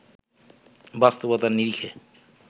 বাস্তবতার নিরিখে